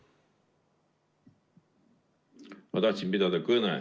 Ma tahan pidada kõnet.